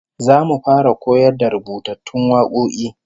Zamu fara koyar da rubutattun wakoki